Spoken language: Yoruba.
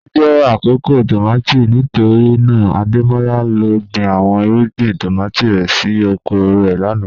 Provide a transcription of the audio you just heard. O jẹ akoko tomati nitorina Ademola lọ gbin awọn irugbin tomati rẹ si oko rẹ lana